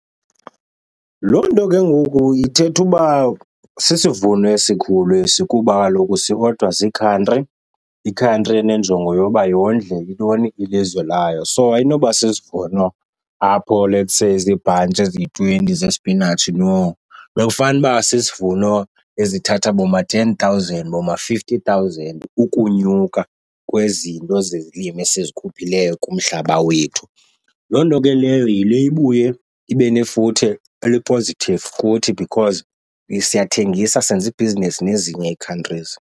Loo nto ke ngoku ithetha uba sisivuno esikhulu esi kuba kaloku siodwa ziikhantri. Ikhantri enenjongo yoba yondle intoni, ilizwe layo. So ayinoba sisivuno apho let's say ziibhantshi eziyi-twenty zesipinatshi, no. Bekufanuba sisivuno ezithatha boma-ten thousand, boma-fifty thousand ukunyuka kwezinto zezilimo esizikhuphileyo kumhlaba wethu. Loo nto ke leyo yile ibuye ibe nefuthe eli-positive kuthi because siyathengisa senza ibhizinesi nezinye ii-countries.